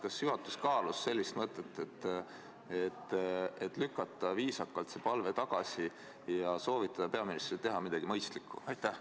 Kas juhatus kaalus mõtet lükata see palve viisakalt tagasi ja soovitada peaministril teha midagi mõistlikku?